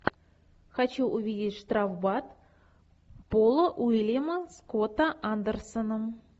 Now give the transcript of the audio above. хочу увидеть штрафбат пола уильяма скотта андерсена